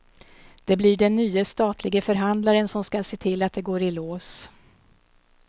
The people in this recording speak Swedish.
Det blir den nye statlige förhandlaren som skall se till att det går i lås.